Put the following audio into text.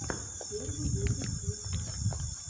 первый выпуск луцая